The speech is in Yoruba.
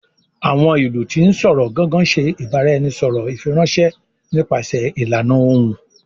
Awọn ilu ti n sọrọ"Gangan" ṣe ibaraẹnisọrọ ifiranṣẹ nípasẹ ìlànà Ohùn